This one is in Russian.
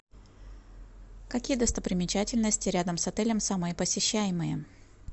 какие достопримечательности рядом с отелем самые посещаемые